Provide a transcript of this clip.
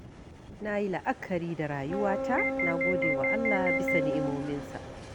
Na yi la'akari da rayuwata, na gode wa Allah bisa ni’imominsa.